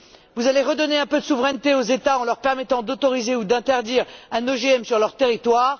Vous allez redonner un peu de souveraineté aux États en leur permettant d'autoriser ou d'interdire un OGM sur leur territoire.